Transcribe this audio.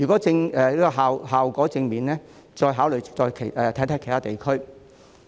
若效果正面，可再考慮在其他地區推行。